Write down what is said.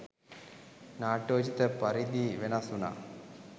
නාට්‍යෝචිත පරිදි වෙනස් වුණා